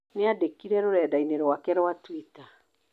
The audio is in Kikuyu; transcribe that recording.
Nĩandĩkire rũrendainĩ rwake rwa twita